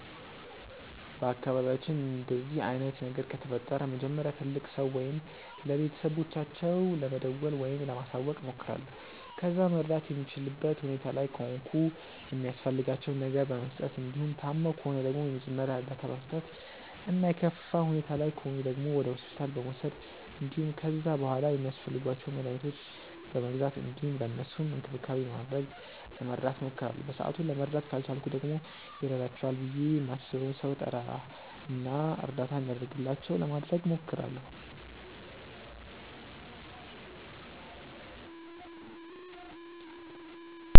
በአካባቢያችን እንደዚህ አይነት ነገር ከተፈጠረ መጀመሪያ ለትልቅ ሰው ወይም ለቤተሰቦቻቸው ለመደወል ወይም ለማሳወቅ እሞክራለሁ። ከዛ መርዳት የምችልበት ሁኔታ ላይ ከሆንኩ የሚያስፈልጋቸውን ነገር በመስጠት እንዲሁም ታመው ከሆነ ደግሞ የመጀመሪያ እርዳታ በመስጠት እና የከፋ ሁኔታ ላይ ከሆኑ ደግሞ ወደ ሆስፒታል በመውሰድ እንዲሁም ከዛ በሗላ ሚያስፈልጓቸውን መድኃኒቶች በመግዛት እንዲሁም ለእነሱም እንክብካቤ በማድረግ ለመርዳት እሞክራለሁ። በሰአቱ ለመርዳት ካልቻልኩ ደግሞ ይረዳቸዋል ብዬ ማስበውን ሰው እጠራ እና እርዳታ እንዲደረግላቸው ለማድረግ እሞክራለሁ።